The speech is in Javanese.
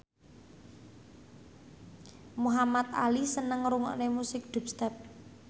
Muhamad Ali seneng ngrungokne musik dubstep